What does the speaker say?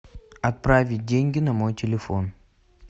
отправить деньги на мой телефон